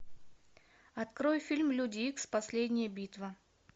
открой фильм люди икс последняя битва